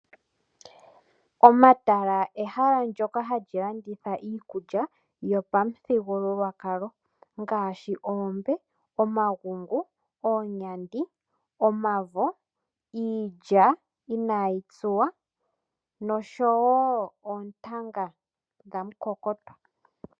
Omatala ehala ndoka halyi landitha iikulya yopamuthigululwakalo ngaashi, oombe, omagungu, oonyandi, omavo, iilya ina yi tsuwa noshowo oontanga dhamukokotwa.